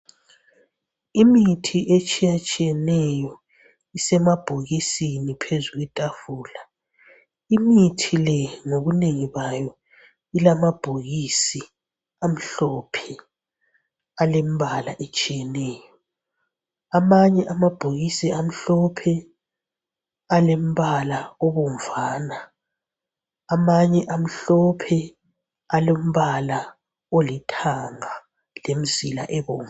Imithi etshiyatshiyeneyo isemabhokisini phezulu kwetafula imithi le ngobunengi bayo ilamabhokisi amhlophe alembala etshiyeneyo, amanye amabhokisi amhlophe alombala obovana amanye amhlophe alombala olithanga lemzila ebomvu.